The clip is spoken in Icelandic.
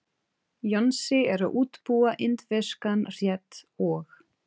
Jónsi er að útbúa indverskan rétt og.